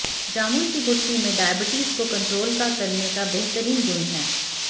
जामुन की गुठली में डायबिटीज को कंट्रोल का करने का बेहतरीन गुण है